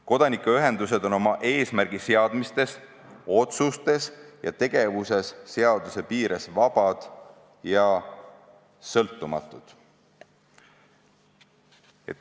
Kodanikuühendused on oma eesmärgiseades, otsustes ja tegevuses seaduse piires vabad ja sõltumatud.